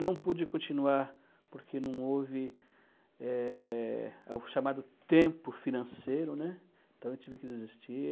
Não pude continuar porque não houve eh, é o chamado tempo financeiro, né, então eu tive que desistir.